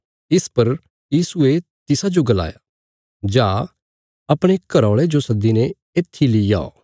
इस पर यीशुये तिसाजो गलाया जा अपणे घराऔल़े जो सद्दीने इत्थी लीऔ